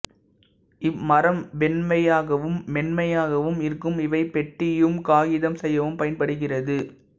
இம்மரம் வெண்மையாகவும் மென்மையாகவும் இருக்கும் இவை பெட்டியும் காகிதம் செய்யவும் பயன்படுகிறது